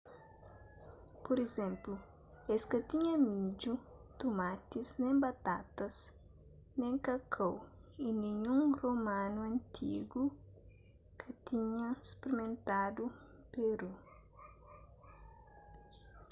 pur izénplu es ka tinha midju tumatis nen batatas nen kakau y ninhun romanu antigu ka tinha sprimentadu peru